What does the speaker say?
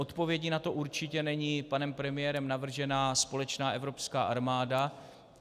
Odpovědí na to určitě není panem premiérem navržená společná evropská armáda.